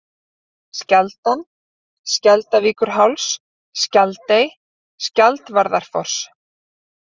Skjaldan, Skjaldarvíkurháls, Skjaldey, Skjaldvarðarfoss